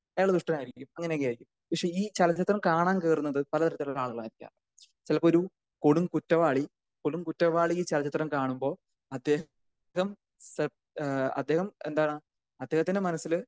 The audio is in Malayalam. അയാളൊരുത്താൻ ആയിരിക്കും അങ്ങനെ ഒക്കെ ആയിരിക്കും പക്ഷെ ഈ ചലച്ചിത്രം കാണാൻ കേറുന്നത് പലതരം ആളുകളായിരിയ്ക്കാം ചിലപ്പോൾ ഒരു കൊടും കുറ്റവാളി. കൊടും കുറ്റവാളി ഈ ചലച്ചിത്രം കാണുമ്പോൾ അദ്ദേഹം അദ്ദേഹം എന്താണ് അദ്ദേഹത്തിന്റെ മനസ്സില്